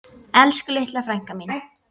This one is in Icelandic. Elsku litla frænka mín.